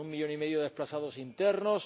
con un millón y medio de desplazados internos